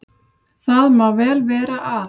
Það má vel vera að